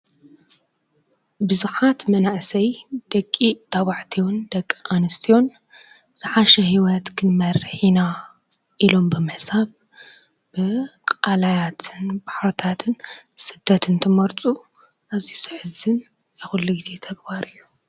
ብዙኃት መናእሰይ ደቂ ተባዕቲዩን ደቂ ኣንስትዩን ዝሓሽ ሕይወት ክንመርኂና ኢሎም ብምሕሳብ ብቓላያትን ባሕርታትን ስደትን እንትመርፁ እዙይ ዘሕዝን ናይ ዂሉ ጊዜ ተግባር እዩ።